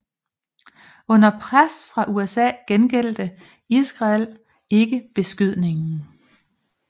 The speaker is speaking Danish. Under pres fra USA gengældte Israel ikke beskydningen